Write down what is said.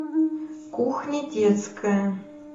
кухня детская